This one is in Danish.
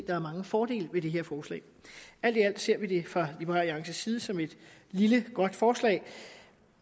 der er mange fordele ved det her forslag alt i alt ser vi det fra liberal alliances side som et lille godt forslag